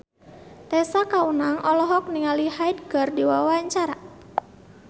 Tessa Kaunang olohok ningali Hyde keur diwawancara